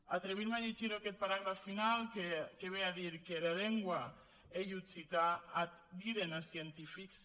atre·vir·me a llegir aquest paràgraf final que ve a dir que era lengua ei occitan ac diden es scientifics